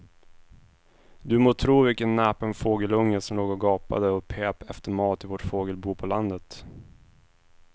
Du må tro vilken näpen fågelunge som låg och gapade och pep efter mat i vårt fågelbo på landet.